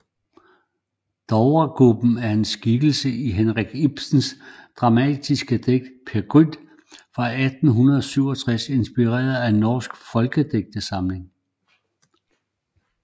Dovregubben er en skikkelse i Henrik Ibsens dramatiske digt Peer Gynt fra 1867 inspireret af norsk folkedigtning